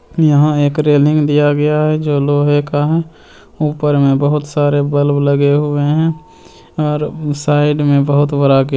यहाँ एक रेलिंग दिया गया हैं जो लोहा का हैं ऊपर में बहुत सारे बल्ब लगे हुए हैं और साइड में बहुत बड़ा गे--